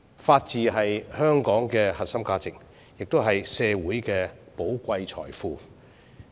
法治是香港的核心價值，也是社會的寶貴財富。